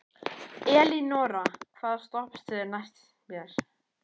Elínora, hvaða stoppistöð er næst mér?